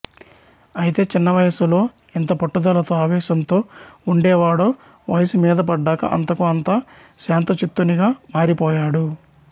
ఐతే చిన్నవయసులో ఎంత పట్టుదలతో ఆవేశంతో ఉండేవాడో వయసు మీదపడ్డాకా అంతకు అంతా శాంతచిత్తునిగా మారిపోయాడు